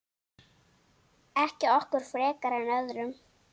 Ekki okkur frekar en öðrum.